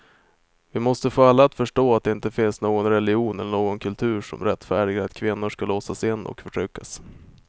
Vi måste få alla att förstå att det inte finns någon religion eller någon kultur som rättfärdigar att kvinnor ska låsas in och förtryckas.